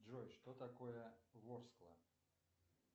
джой что такое ворскла